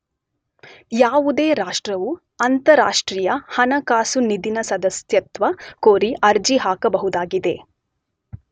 ಯಾವುದೇ ರಾಷ್ಟ್ರವು ಅಂತರರಾಷ್ಟ್ರೀಯ ಹಣಕಾಸು ನಿಧಿನ ಸದಸ್ಯತ್ವ ಕೋರಿ ಅರ್ಜಿ ಹಾಕಬಹುದಾಗಿದೆ.